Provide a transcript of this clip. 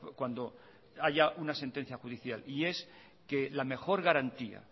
cuando haya una sentencia judicial y es que la mejor garantía